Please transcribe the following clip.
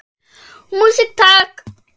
Músík, takk!